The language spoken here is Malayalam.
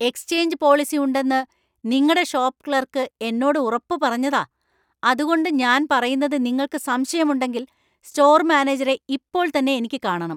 എക്സ്ചേഞ്ച് പോളിസി ഉണ്ടെന്ന് നിങ്ങടെ ഷോപ്പ് ക്ലർക്ക് എന്നോട് ഉറപ്പ് പറഞ്ഞതാ , അതുകൊണ്ട് ഞാൻ പറയുന്നത് നിങ്ങൾക്ക് സംശയമുണ്ടെങ്കിൽ, സ്റ്റോർ മാനേജരെ ഇപ്പോൾ തന്നെ എനിക്ക് കാണണം.